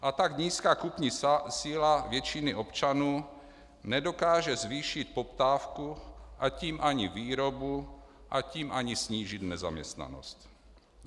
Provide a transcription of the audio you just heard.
A tak nízká kupní síla většiny občanů nedokáže zvýšit poptávku a tím ani výrobu a tím ani snížit nezaměstnanost.